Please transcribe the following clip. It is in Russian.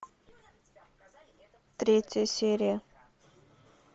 третья серия